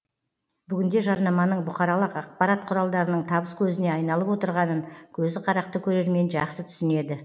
бүгінде жарнаманың бұқаралық ақпарат құралдарының табыс көзіне айналып отырғанын көзі қарақты көрермен жақсы түсінеді